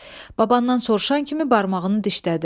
Babandan soruşan kimi barmağını dişlədi.